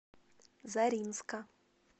заринска